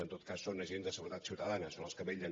en tot cas són agents de seguretat ciutadana són els que vetllen